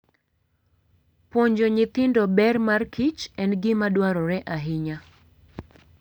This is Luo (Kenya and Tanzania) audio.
Puonjo nyithindo ber markich en gima dwarore ahinya.